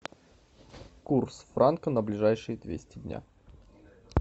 курс франка на ближайшие двести дня